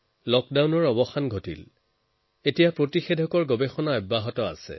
লকডাউনৰ পৰিসীমাৰ পৰা বাহিৰলৈ ওলাই এতিয়া ভেক্সিনৰ ওপৰত আলোচনা হবলৈ লৈছে